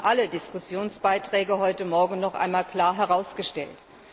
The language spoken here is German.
Das haben alle Diskussionsbeiträge heute Morgen noch einmal klar herausgestellt.